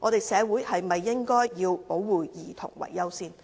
社會是否應該以保護兒童為優先？